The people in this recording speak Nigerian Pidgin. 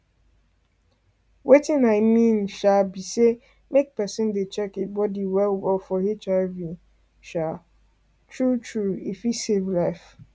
watin i mean um be say make person dey check e body well well for hiv um true e fit save life